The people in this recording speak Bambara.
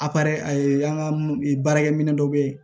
an ka baarakɛminɛ dɔ bɛ yen